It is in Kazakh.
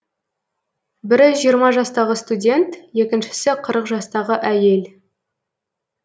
бірі жиырма жастағы студент екіншісі қырық жастағы әйел